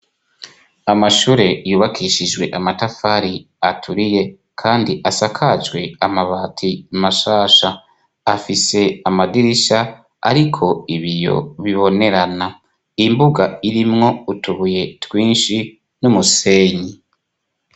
Amashure yubakishijwe amatafari aturiye kandi asakajwe amabati mashasha. Afise amadirisha ariko ibiyo bibonerana. Imbuga irimwo utubuye twinshi n'umusenyi.